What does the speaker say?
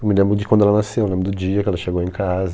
Eu me lembro de quando ela nasceu, eu lembro do dia que ela chegou em casa.